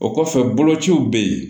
O kɔfɛ bolociw be yen